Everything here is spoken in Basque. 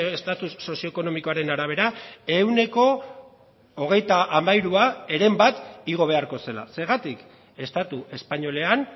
estatus sozioekonomikoaren arabera ehuneko hogeita hamairua heren bat igo beharko zela zergatik estatu espainolean